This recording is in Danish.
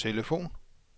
telefon